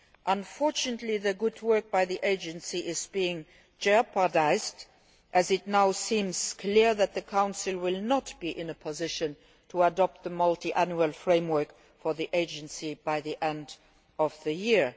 Unfortunately, the good work done by the Agency is being jeopardised, as it now seems clear that the Council will not be in a position to adopt the Multiannual Framework for the Agency by the end of the